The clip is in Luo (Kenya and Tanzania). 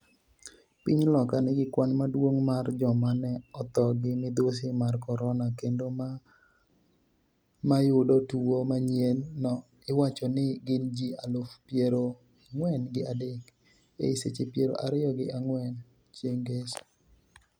Piny Loka nigi kwan maduong' mar joma ne otho gi midhusi mar corona kendo ma mayudo tuwo manyien no iwacho ni gin ji aluf piero ang'wen gi adek, ei seche piero ariyo gi ang'wen chieng' ngeso